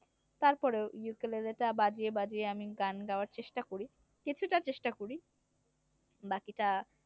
তারপরেও ইউকেলেলে টা বাজিয়ে বাজিয়ে আমি গান গাওয়ার চেষ্টা করি কিছুটা চেষ্টা করি বাকিটা